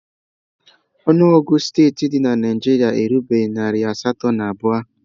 Ọnụọgụ steeti dị na Naịjirịa erubeghị narị asatọ na abụọ